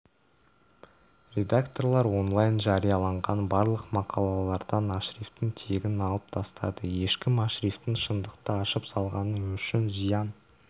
редакторлар онлайн жарияланған барлық мақалалардан ашрифтің тегін алып тастады ешкім ашрифтің шындықты ашып салғаны үшін зиян